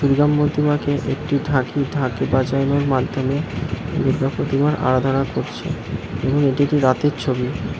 দুর্গা প্রতিমাকে একটি ঢাকি ঢাক বাজানোর মাধ্যমে দুর্গা প্রতিমার আরাধনা করছে এবং এটি একটি রাতের ছবি।